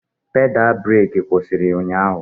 Pedal breeki kwụsịrị ụnyahụ.